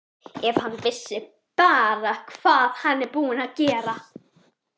Ef hann vissi bara hvað hann er búinn að gera.